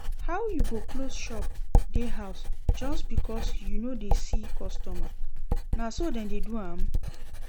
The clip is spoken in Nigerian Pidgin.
How you go close shop dey house just because you no dey see customer, na so dem dey do am?